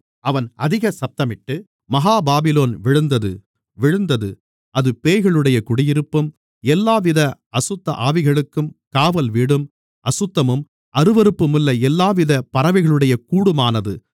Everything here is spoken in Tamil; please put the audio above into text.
அவன் அதிக சத்தமிட்டு மகா பாபிலோன் விழுந்தது விழுந்தது அது பேய்களுடைய குடியிருப்பும் எல்லாவித அசுத்தஆவிகளுக்கும் காவல் வீடும் அசுத்தமும் அருவருப்புமுள்ள எல்லாவித பறவைகளுடைய கூடுமானது